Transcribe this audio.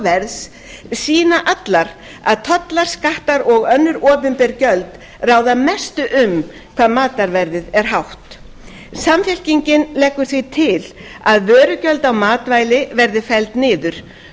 verðs sýna allar að tollar skattar og önnur opinber gjöld ráða mestu um hvað matarverðið er hátt samfylkingin leggur því til að vörugjöld á matvæli verði felld niður